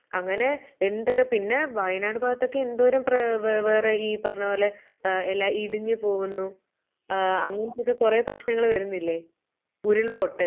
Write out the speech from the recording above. അങ്ങനെ എന്തൊക്കെ. പിന്നെ, വയനാട് ഭാഗത്തൊക്കെ എന്തോരം പ്ര പ്ര വ് ഈ പറഞ്ഞ പോലെ ആഹ് എല്ലാം ഇടിഞ്ഞു പോകുന്നു ആഹ് അങ്ങനെയൊക്കെ കൊറെ പ്രശ്നങ്ങള് വരുന്നില്ലേ?